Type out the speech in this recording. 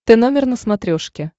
тномер на смотрешке